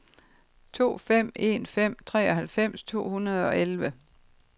to fem en fem treoghalvfems to hundrede og elleve